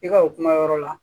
I ka o kuma yɔrɔ la